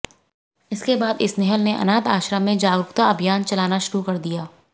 इसके बाद स्नेहल ने अनाथ आश्रम में जागरूकता अभियान चलाना शुरू किया